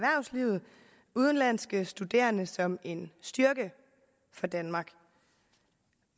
udenlandske studerende som en styrke for danmark